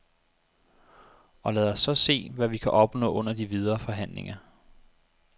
Og lad os så se, hvad vi kan opnå under de videre forhandlinger.